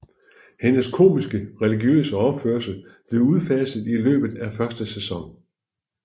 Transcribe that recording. Hendes komiske religiøse opførsel blev udfaset i løbet af første sæson